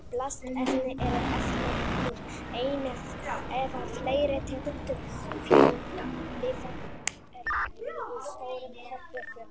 Plastefni eru efni úr einni eða fleiri tegundum fjölliða úr stórum hópi fjölliða.